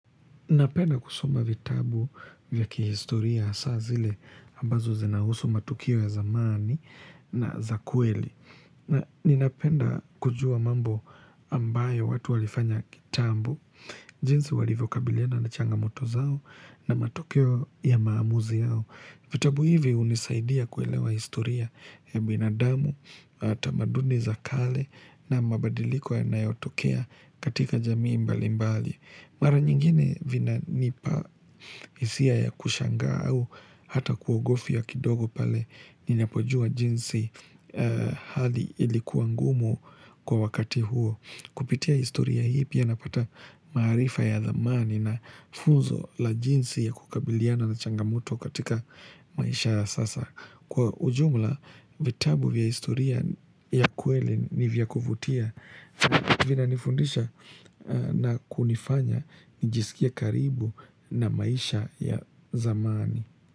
Napenda kusoma vitabu vya kihistoria hasa zile ambazo zinahusu matukio ya zamani na za kweli. Na ninapenda kujua mambo ambayo watu walifanya kitambo. Jinsi walivyokabiliana na changamoto zao na matokeo ya maamuzi yao. Vitabu hivi hunisaidia kuelewa historia ya binadamu, tamaduni za kale na mabadiliko yanayotokea katika jamii mbali mbali. Mara nyingine, vinanipa hisia ya kushangaa au hata kuogofya kidogo pale ninapojua jinsi hali ilikuwa ngumu kwa wakati huo. Kupitia historia hii pia napata maarifa ya dhamani na funzo la jinsi ya kukabiliana na changamoto katika maisha ya sasa. Kwa ujumla, vitabu vya historia ya kweli ni vya kuvutia. Vinanifundisha na kunifanya njisikie karibu na maisha ya zamani.